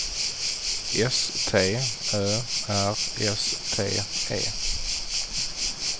S T Ö R S T E